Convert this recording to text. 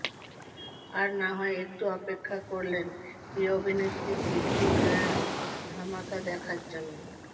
আর না হয় একটু অপেক্ষা করলেন প্রিয় অভিনেত্রীর কীর্তি নয়া ধামাকা দেখার জন্য